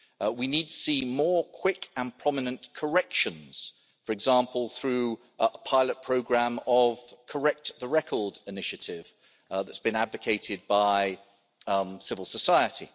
We need see more quick and prominent corrections, for example, through a pilot programme of the Correct the Record initiative that's been advocated by civil society.